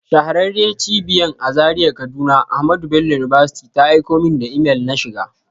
Shahararriyar Cibiyan a Zaria kaduna AHMADU BELLO UNIVERSITY ta aiko min da imel na shiga.